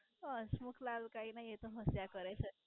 હસમુખલાલ કઈ નાઈ એ તો મજા કરે છે.